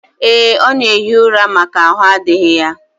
Ee, ọ na-ehi ura maka ahụ adịghị ya